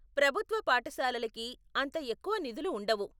ప్రభుత్వ పాఠశాలలకి అంత ఎక్కువ నిధులు ఉండవు.